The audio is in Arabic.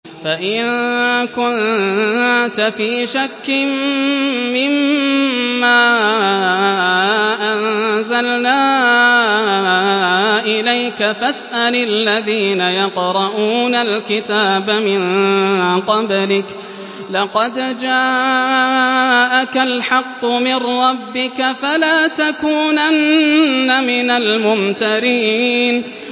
فَإِن كُنتَ فِي شَكٍّ مِّمَّا أَنزَلْنَا إِلَيْكَ فَاسْأَلِ الَّذِينَ يَقْرَءُونَ الْكِتَابَ مِن قَبْلِكَ ۚ لَقَدْ جَاءَكَ الْحَقُّ مِن رَّبِّكَ فَلَا تَكُونَنَّ مِنَ الْمُمْتَرِينَ